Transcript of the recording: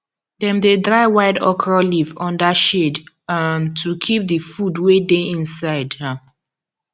dem dey dry wild okra leaf under shade um to keep the food wey dey inside um